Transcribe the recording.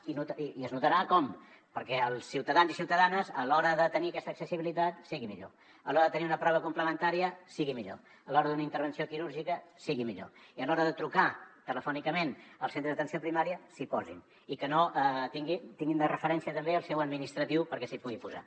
i es notarà com perquè els ciutadans i ciutadanes a l’hora de tenir aquesta accessibilitat sigui millor a l’hora de tenir una prova complementària sigui millor a l’hora d’una intervenció quirúrgica sigui millor i a l’hora de trucar telefònicament al centre d’atenció primària s’hi posin i que tinguin de referència també el seu administratiu perquè s’hi pugui posar